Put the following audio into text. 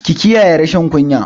Ki kiyayi rashin kunya!